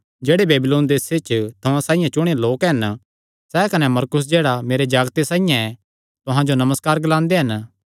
जेह्ड़े बेबीलोन देसे च तुहां साइआं चुणेयो लोक हन सैह़ कने मरकुस जेह्ड़ा मेरे जागते साइआं ऐ तुहां जो नमस्कार ग्लांदे हन